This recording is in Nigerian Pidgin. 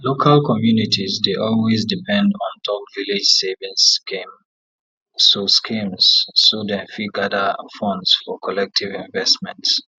local communities dey always depend ontop village savings schemes so schemes so dem fit gather funds for collective investments